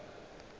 le ge re dutše re